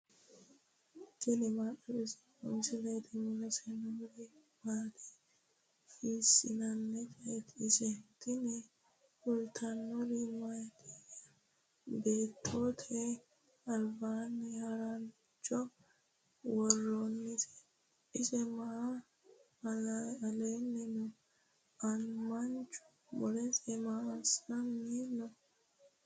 tini maa xawissanno misileeti ? mulese noori maati ? hiissinannite ise ? tini kultannori mattiya? Beettote alibbanni maricho woroonnise ? ise maa la'anni noo? manchu mulese maa assanni noo?